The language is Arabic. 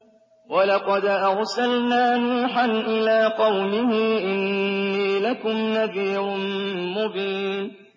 وَلَقَدْ أَرْسَلْنَا نُوحًا إِلَىٰ قَوْمِهِ إِنِّي لَكُمْ نَذِيرٌ مُّبِينٌ